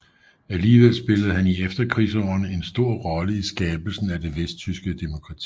Alligevel spillede han i efterkrigsårene en stor rolle i skabelsen af det vesttyske demokrati